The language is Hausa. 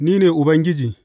Ni ne Ubangiji.